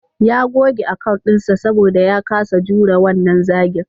Ya goge account dinsa saboda ya kasa jurewa wannan zagin.